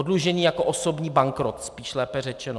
Oddlužení jako osobní bankrot spíš, lépe řečeno.